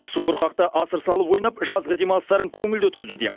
субұрқақта асыр салып ойнап жазғы демалыстарын көңілді өткізуде